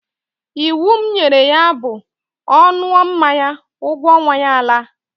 Iwu m nyere ya bụ, ọ ṅụọ mmanya, ụgwọ ọnwa ya alaa!